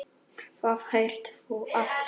Hvað heitir þú aftur?